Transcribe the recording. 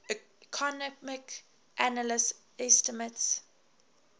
economic analysis estimates